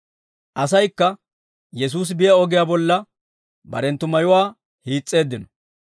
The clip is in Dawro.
Asaykka Yesuusi biyaa ogiyaa bolla barenttu mayuwaa hiis's'eeddino.